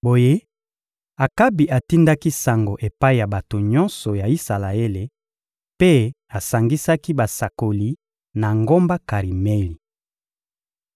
Boye Akabi atindaki sango epai ya bato nyonso ya Isalaele mpe asangisaki basakoli na ngomba Karimeli.